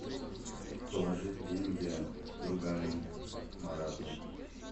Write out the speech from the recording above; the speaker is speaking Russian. положить деньги другану марату